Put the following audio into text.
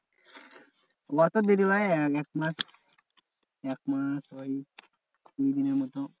অত দেরি হয়? একমাস একমাস ওই তিনদিনের মতো।